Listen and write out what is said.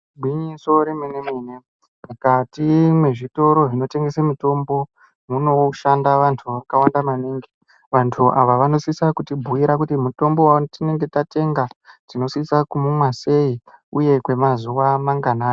Gwinyso remene mene mukati mwezvitoro zvinotengese mutombo munoshanda vantu vakawanda maningi vantu ava vanosisa kutibhuyira kuti mutombo watinenge tatenga tinosisa kuumwa sei uye kwemazuwa manganai .